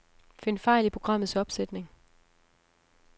Find fejl i programmets opsætning.